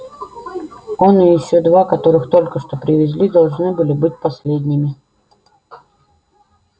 он и ещё два которых только что привезли должны были быть последними